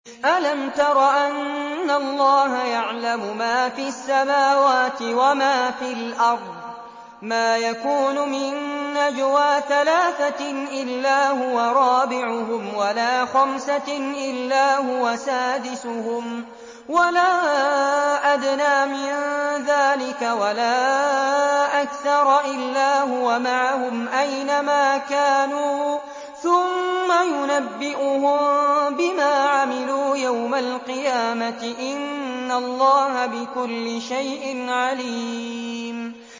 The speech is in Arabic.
أَلَمْ تَرَ أَنَّ اللَّهَ يَعْلَمُ مَا فِي السَّمَاوَاتِ وَمَا فِي الْأَرْضِ ۖ مَا يَكُونُ مِن نَّجْوَىٰ ثَلَاثَةٍ إِلَّا هُوَ رَابِعُهُمْ وَلَا خَمْسَةٍ إِلَّا هُوَ سَادِسُهُمْ وَلَا أَدْنَىٰ مِن ذَٰلِكَ وَلَا أَكْثَرَ إِلَّا هُوَ مَعَهُمْ أَيْنَ مَا كَانُوا ۖ ثُمَّ يُنَبِّئُهُم بِمَا عَمِلُوا يَوْمَ الْقِيَامَةِ ۚ إِنَّ اللَّهَ بِكُلِّ شَيْءٍ عَلِيمٌ